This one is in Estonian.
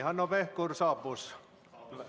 Hanno Pevkur saabus.